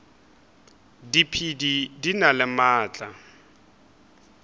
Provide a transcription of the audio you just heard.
diphedi di na le maatla